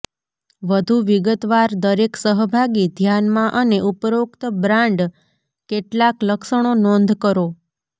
વધુ વિગતવાર દરેક સહભાગી ધ્યાનમાં અને ઉપરોક્ત બ્રાન્ડ કેટલાક લક્ષણો નોંધ કરો